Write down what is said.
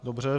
Dobře.